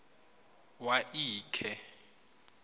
wa l khe